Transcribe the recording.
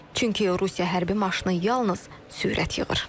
Çünki Rusiya hərbi maşını yalnız sürət yığır.